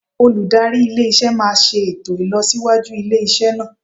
Olùdarí ilé iṣẹ́ máa ṣe ètò ìlọsíwájú ilé iṣẹ́ náà.